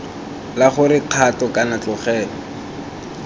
la gore kgato kana tlogelo